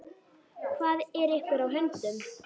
Hvað er ykkur á höndum?